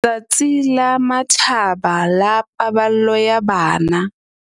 Letsatsi la Matjhaba la Paballo ya Bana